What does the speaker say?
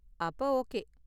அப்ப ஓகே.